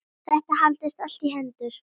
Þetta haldist allt í hendur.